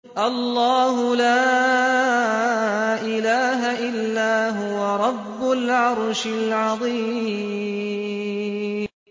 اللَّهُ لَا إِلَٰهَ إِلَّا هُوَ رَبُّ الْعَرْشِ الْعَظِيمِ ۩